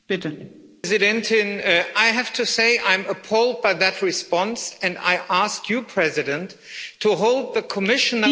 Madam President, I have to say I am appalled by that response and I ask you, President, to hold the Commission...